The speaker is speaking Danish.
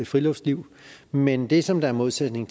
friluftsliv men det som er en modsætning